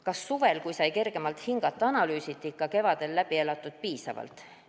Kas suvel, kui sai kergemalt hingata, analüüsiti kevadel läbi elatut piisavalt?